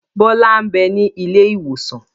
Bọlá n bẹ ní ilé ìwòsàn